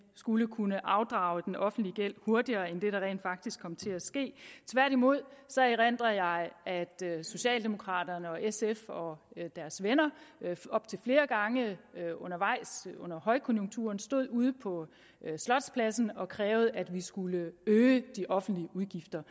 skulle kunne afdrage den offentlige gæld hurtigere end det der rent faktisk kom til at ske tværtimod erindrer jeg at socialdemokraterne og sf og deres venner op til flere gange undervejs under højkonjunkturen stod ude på slotspladsen og krævede at vi skulle øge de offentlige udgifter